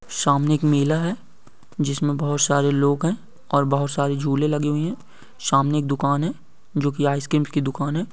सामने एक मेला है जिसमे बहुत सरे लोग है ओर बहुत सारे जुले लगे हुए है सामने एक दुकान है जो की आइसक्रीम की दुकान है ।